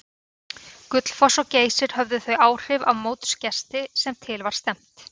Gullfoss og Geysir höfðu þau áhrif á mótsgesti sem til var stefnt.